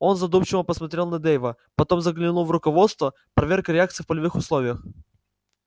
он задумчиво посмотрел на дейва потом заглянул в руководство проверка реакций в полевых условиях